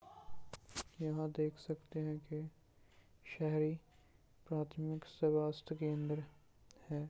यहाँ देख सकते हैं की शहरी प्राथमिक स्वास्थ केंद्र है।